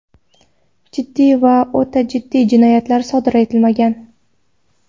Jiddiy va o‘ta jiddiy jinoyatlar sodir etilmagan.